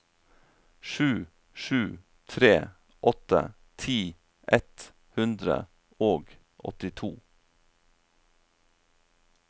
sju sju tre åtte ti ett hundre og åttito